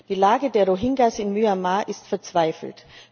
Die Lage der Rohingyas in Myanmar ist verzweifelt.